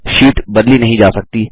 sheet बदली नहीं जा सकती